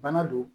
Bana don